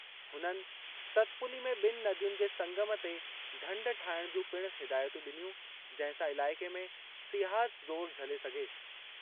हुननि सतपुली में बि॒नि नदियुनि जे संगम ते ढंढ ठाहिणु जूं पिणु हिदायतूं डि॒नियूं जंहिं सां इलाइक़े में सियाहत ज़ोर झले सघे।